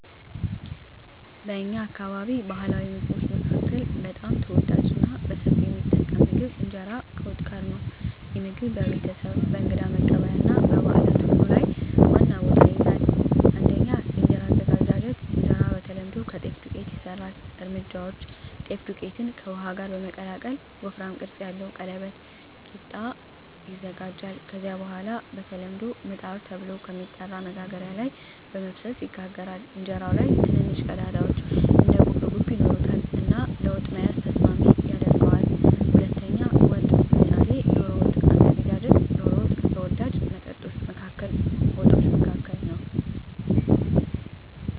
በእኛ አካባቢ ባሕላዊ ምግቦች መካከል በጣም ተወዳጅና በሰፊው የሚጠቀም ምግብ እንጀራ ከወጥ ጋር ነው። ይህ ምግብ በቤተሰብ፣ በእንግዳ መቀበያ እና በበዓላት ሁሉ ላይ ዋና ቦታ ይይዛል። 1. የእንጀራ አዘገጃጀት እንጀራ በተለምዶ ከጤፍ ዱቄት ይሰራል። እርምጃዎች: ጤፍ ዱቄትን ከውሃ ጋር በመቀላቀል ወፍራም ቅርጽ ያለው ቀለበት (ቂጣ) ይዘጋጃል። ከዚያ በኋላ በተለምዶ “ምጣድ” ተብሎ በሚጠራ መጋገሪያ ላይ በመፍሰስ ይጋገራል። እንጀራው ላይ ትንንሽ ቀዳዳዎች (እንደ ጉብጉብ) ይኖሩታል እና ለወጥ መያዝ ተስማሚ ያደርገዋል። 2. ወጥ (ምሳሌ ዶሮ ወጥ) አዘገጃጀት ዶሮ ወጥ ከተወዳጅ ወጦች መካከል ነው።